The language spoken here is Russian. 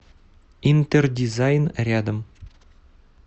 интердизайн рядом